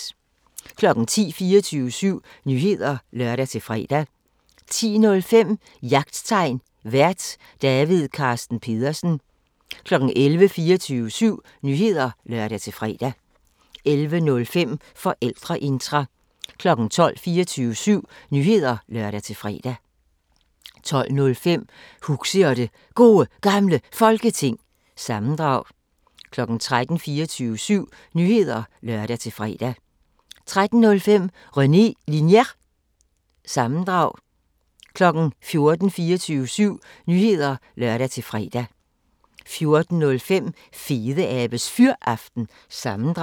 10:00: 24syv Nyheder (lør-fre) 10:05: Jagttegn Vært: David Carsten Pedersen 11:00: 24syv Nyheder (lør-fre) 11:05: Forældreintra 12:00: 24syv Nyheder (lør-fre) 12:05: Huxi og det Gode Gamle Folketing – sammendrag 13:00: 24syv Nyheder (lør-fre) 13:05: René Linjer- sammendrag 14:00: 24syv Nyheder (lør-fre) 14:05: Fedeabes Fyraften – sammendrag